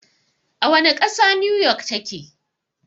A wane ƙasa 'New York' ta ke?